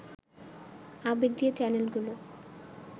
আবেগ দিয়ে চ্যানেলগুলো